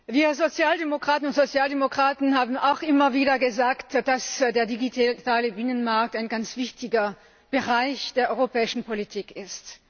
Wir Sozialdemokratinnen und Sozialdemokraten haben auch immer wieder gesagt, dass der digitale Binnenmarkt ein ganz wichtiger Bereich der europäischen Politik ist.